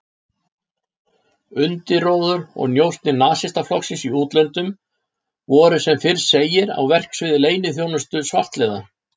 Undirróður og njósnir Nasistaflokksins í útlöndum voru sem fyrr segir á verksviði leyniþjónustu svartliða